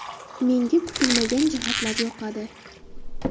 Menga kutilmagan jihatlar yoqadi.